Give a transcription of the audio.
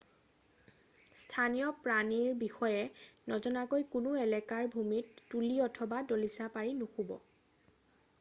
স্থানীয় প্ৰাণীৰ বিষয়ে নজনাকৈ কোনো এলেকাৰ ভূমিত তুলী অথবা দলিচা পাৰি নুশুব